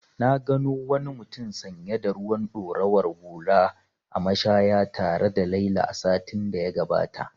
Na gano wani mutum sanye da ruwan ɗorawar hula a mashaya tare da Laila satin da ya gabata.